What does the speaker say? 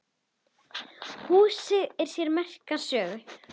Húsið á sér merka sögu.